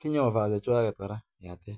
Tinye offers chechuak che mie.